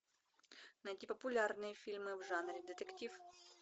найди популярные фильмы в жанре детектив